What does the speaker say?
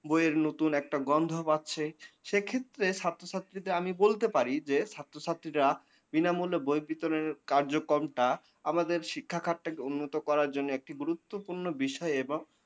বইয়ের নতুন একটা গন্ধ পাচ্ছে সেক্ষেত্রে ছাত্রছাত্রীদের আমি বলতে পারি যে ছাত্রছাত্রীরা বিনামূল্যে বই বিতরণের কার্যক্রমটা আমাদের শিক্ষাক্ষেত্রে উন্নতি করার জন্যে একটি গুরত্ব পূর্ণ বিষয়ে এবং